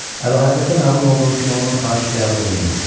Əlahəzrətə məlum olduğu kimi, onun xahişi qəbul olundu.